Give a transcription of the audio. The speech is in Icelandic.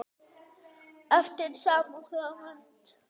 eftir sama höfund.